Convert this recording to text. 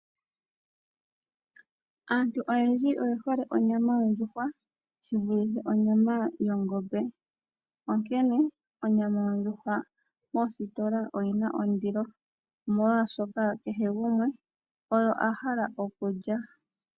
Aantu oyendji oye hole onyama yondjuhwa shi vulithe onyama yongombe, onkene onyama yondjuhwa moositola oyi na ondilo, molwaaoshoka kehe gumwe oyo a hala okulya.